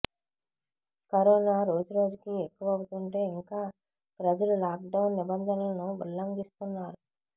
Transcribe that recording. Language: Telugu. కరోనా రోజు రోజుకి ఎక్కువవుతుంటే ఇంకా ప్రజలు లాక్డౌన్ నిబంధనలను ఉల్లంఘిస్తున్నారు